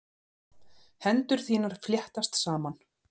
Hendur þínar fléttast saman.